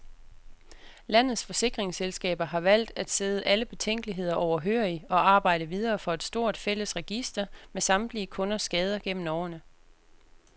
Landets forsikringsselskaber har valgt at sidde alle betænkeligheder overhørig og arbejde videre for et stort, fælles register med samtlige kunders skader gennem årene.